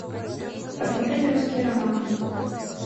посмотреть русский роман